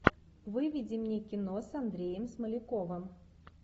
выведи мне кино с андреем смоляковым